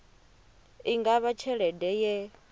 i nga vha tshelede ye